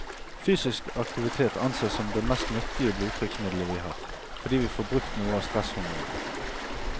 Fysisk aktivitet ansees som det mest nyttige blodtrykksmiddelet vi har, fordi vi får brukt noe av stresshormonene.